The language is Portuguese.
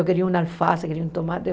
Eu queria um alface, eu queria um tomate.